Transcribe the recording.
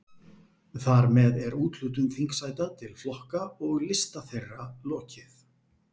Þar með er úthlutun þingsæta til flokka og lista þeirra lokið.